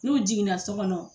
N'u jiginna so kɔnɔ.